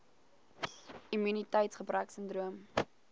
immuniteits gebrek sindroom